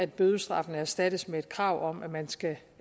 bødestraffen erstattes med et krav om at man skal